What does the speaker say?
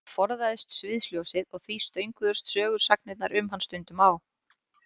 Hann forðaðist sviðsljósið og því stönguðust sögusagnir um hann stundum á.